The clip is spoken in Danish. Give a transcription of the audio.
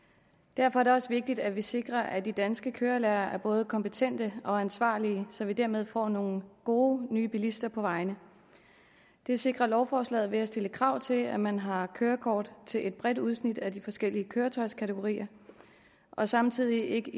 derfor er det også vigtigt at vi sikrer at de danske kørelærere er både kompetente og ansvarlige så vi dermed får nogle gode nye bilister på vejene det sikrer lovforslaget ved at stille krav til at man har kørekort til et bredt udsnit af de forskellige køretøjskategorier og samtidig ikke